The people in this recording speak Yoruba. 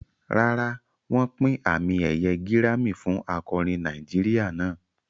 Rárá, wọ́n pín àmì ẹ̀yẹ gírámì fún akọrin Nàìjíríà náà.